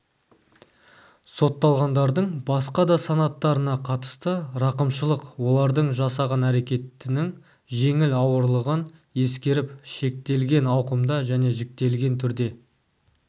сотталғандардың басқа да санаттарына қатысты рақымшылық олардың жасаған әрекетінің жеңіл-ауырлығын ескеріп шектелген ауқымда және жіктелген түрде